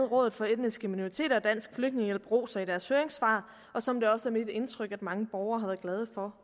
rådet for etniske minoriteter og dansk flygtningehjælp roser i deres høringssvar og som det også er mit indtryk at mange borgere har været glade for